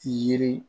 Yiri